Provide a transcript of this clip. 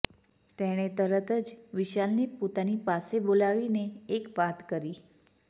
તેણે તરત જ વિશાલને પોતાની પાસે બોલાવી એક વાત કરી